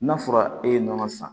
N'a fɔra e ye nɔnɔ san